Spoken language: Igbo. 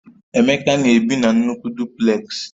Emeka na-ebi na nnukwu Dupleks